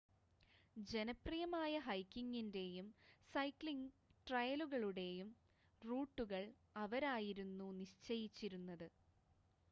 ജനപ്രിയമായ ഹൈക്കിങ്ങിൻ്റെയും സൈക്ക്ലിങ് ട്രയലുകളുടെയും റൂട്ടുകൾ അവരായിരുന്നു നിശ്ചയിച്ചിരുന്നത്